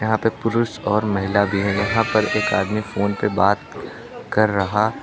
यहां पे पुरुष और महिला भी हैं यहां पर एक आदमी फोन पे बात कर रहा है।